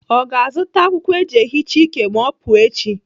Ọ ga-azụta akwụkwọ eji ehicha ike ma ọ pụọ echi?